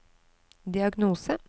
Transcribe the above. diagnose